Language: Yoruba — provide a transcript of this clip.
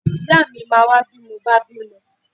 Ìyáà mi máa wá bí mo bá bímọ.